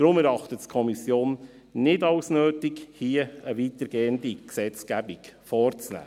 Deshalb erachtet es die Kommission nicht als nötig, hier eine weitergehende Gesetzgebung vorzunehmen.